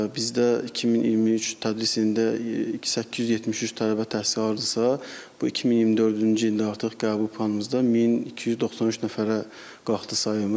Bizdə 2023 tədris ilində 873 tələbə təhsil alırdısa, bu 2024-cü ildə artıq qəbul planımızda 1293 nəfərə qalxdı sayımız.